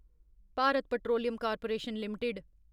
Bharat petroleum corporation limited